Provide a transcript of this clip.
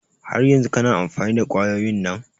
Har yanzun kana amfani da kwayoyin nan?